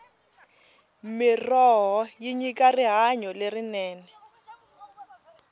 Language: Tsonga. mirhoho yi nyika rihanyo lerinene